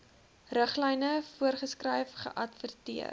riglyne voorgeskryf geadverteer